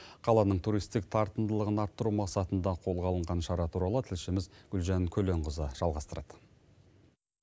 қаланың туристік тартымдылығын арттыру мақсатында қолға алынған шара туралы тілшіміз гүлжан көленқызы жалғастырады